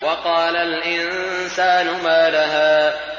وَقَالَ الْإِنسَانُ مَا لَهَا